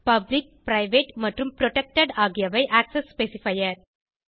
public private மற்றும் protected ஆகியவை access specifier